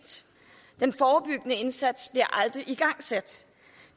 den forebyggende indsats bliver aldrig igangsat